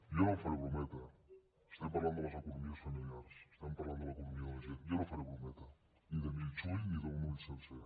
jo no faré brometa estem parlant de les economies familiars estem parlant de l’economia de la gent jo no faré brometa ni de mig ull ni d’un ull sencer